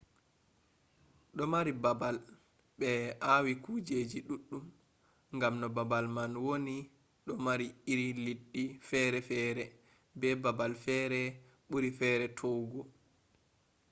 do mari babal be awi kujeji duddum gam no babal man woni do mari iri leddi fere fere be babal fere buri fere towugo